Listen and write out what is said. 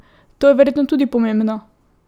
To je verjetno tudi pomembno?